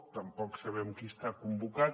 tampoc sabem qui està convocat